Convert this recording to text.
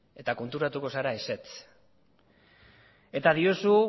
eta konturatuko zera ezetz eta diozu